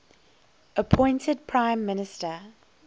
appointed prime minister